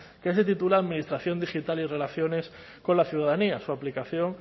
que se titula administración digital y relaciones con la ciudadanía su aplicación